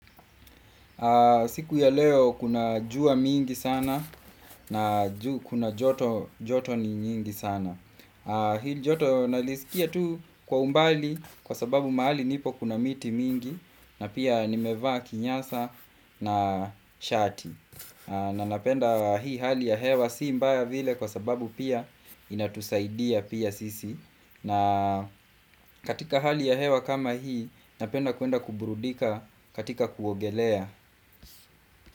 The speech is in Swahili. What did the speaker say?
Siku ya leo kuna jua mingi sana na kuna joto ni nyingi sana Hii joto nalisikia tu kwa umbali kwasababu mahali nipo kuna miti mingi na pia nimevaa kinyasa na shati na napenda hii hali ya hewa si mbaya vile kwa sababu pia inatusaidia pia sisi na katika hali ya hewa kama hii napenda kwenda kuburudika katika kuogelea.